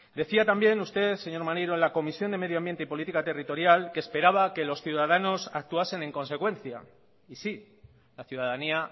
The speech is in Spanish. decía también usted señor maneiro en la comisión de medioambiente y política territorial que esperaba que los ciudadanos actuasen en consecuencia y sí la ciudadanía